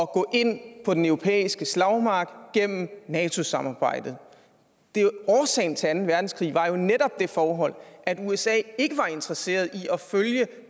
gå ind på den europæiske slagmark gennem nato samarbejdet årsagen til anden verdenskrig var jo netop det forhold at usa ikke var interesseret i at følge